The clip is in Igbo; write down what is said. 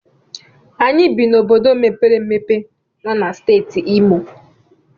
Anyị bi n'obodo mepere emepe nọ na Steeti Imo.